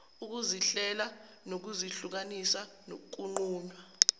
ukuzihlela ngokuzihlukanisa kunqunywa